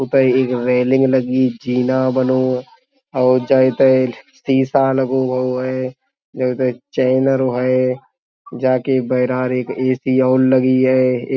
उतै एक रेलिंग लगी जीना बनो और जहें तहें शीशा लगो गओ है। जहें तहें चैनल हैं। जा के बैरार एक ए.सी. और लगी है।